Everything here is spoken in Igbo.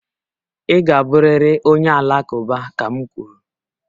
Ị ga-abụrịrị onye Alakụba ka m kwuru!